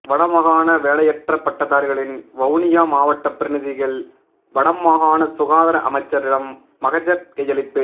வடமாகாண வேலையற்ற பட்டதாதிரிகளின் வவுனியா மாவட்ட பிரதிநிதிகள் வடமாகாண சுகாதார அமைச்சரிடம் மகஜர் கையளிப்பு